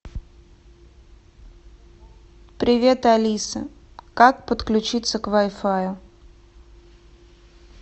привет алиса как подключиться к вай фаю